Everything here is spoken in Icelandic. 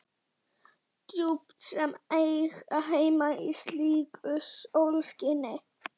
Djúp sem ekki eiga heima í slíku sólskini.